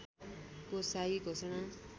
को शाही घोषणा